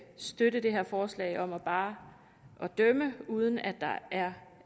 støtte det her forslag om bare at dømme uden at der